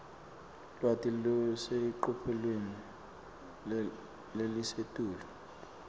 lwati lolusecophelweni lelisetulu